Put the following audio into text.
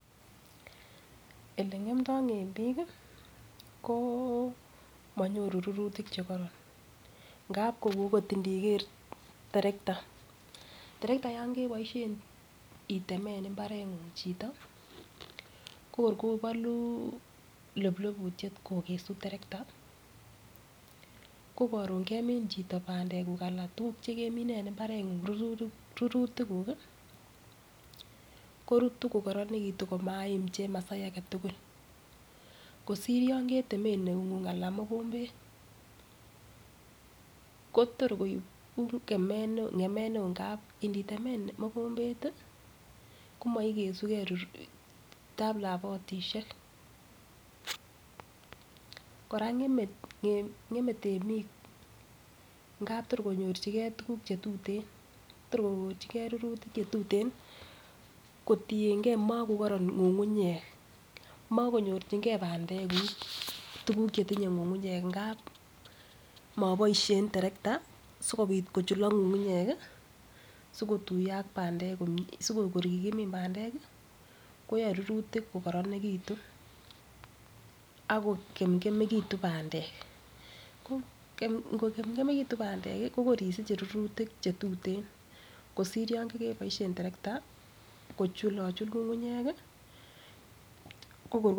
Ele ng'emdo temik ko monyoru rurutik chekoronngab kou agot indiker terekta. Trekta yon keboisien itemen mbareng'ung chito ko kor kobulo ploplobityet kogesu terekta kokoron kemin chito bandek kuk anan tuguk che kemine en mbareng'ung rurutik kuk korutu kokorenegitun komaim chemasai age tugul kosir yon ketemen eung'ung anan mogombet. Ko tor koib ng'emet neo ngamun initemen mogombet komoigesuke tablabotishek. Kora ng'eme temik, ngab tor konuorjinge tugukche tuten tor konyorjinge ruruitk che tuten kotienge makokoron ng'ung'unyek mokonyojinge bandekug tuguk chetinye ng'ung'nyek ngab moboishen terekta sikobit kochulok ng'ung'unyek sikotuiyo ak bandek komie, sikor yemin bandek ko yae rurutik ko koronegitun ak ko kemkemegitun bandek. Ngokemkemegitun bandek ko kor isiche rurutik che tuten kosir yon kogeboishen tereketa kochulochul ng'ung'unyek.